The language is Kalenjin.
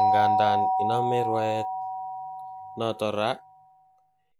Ingandan inome rwaet noton ra,